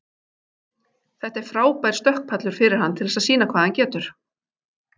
Þetta er frábær stökkpallur fyrir hann til þess sýna hvað hann getur.